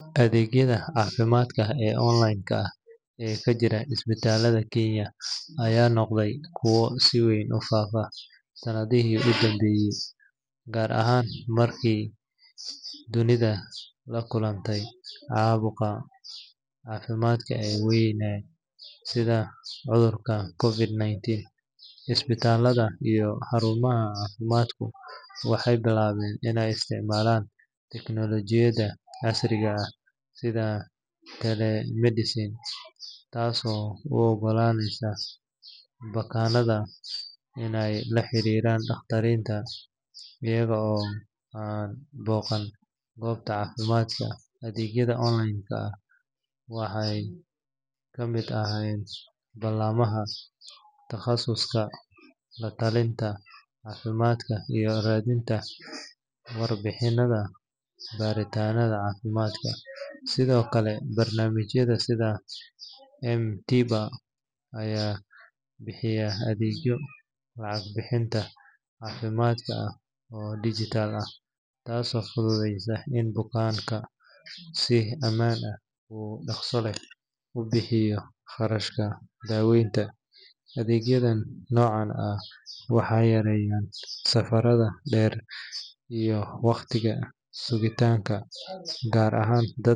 Adeegyada caafimaadka ee online-ka ah ee ka jira isbitaalada Kenya ayaa noqday kuwo si weyn u faafo sanadihii u dambeeyay, gaar ahaan kadib markii dunidu la kulantay caqabado caafimaad oo waaweyn sida cudurka COVID-19. Isbitaalada iyo xarumaha caafimaadku waxay bilaabeen inay isticmaalaan teknolojiyadda casriga ah sida telemedicine, taasoo u oggolaanaysa bukaannada inay la xiriiraan dhakhaatiirta iyaga oo aan booqan goobta caafimaadka. Adeegyada online-ka waxaa ka mid ah ballamaha takhasuska, la-talinta caafimaad, iyo raadinta warbixinada baaritaanka caafimaadka. Sidoo kale, barnaamijyada sida M-TIBA ayaa bixiya adeegyo lacag bixinta caafimaadka ah oo dhijitaal ah, taasoo fududeysa in bukaanku si ammaan ah oo dhaqso leh u bixiyaan kharashka daaweynta. Adeegyada noocan ah waxay yareeyaan safarrada dheer iyo wakhtiga sugitaanka, gaar ahaan dad.